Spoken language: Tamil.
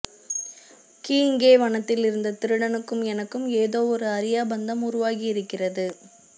கீயிங்கே வனத்திலிருந்த திருடனுக்கும் எனக்கும் ஏதோவொரு அறியா பந்தம் உருவாகியிருக்கிறது